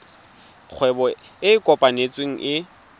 kgwebo e e kopetsweng e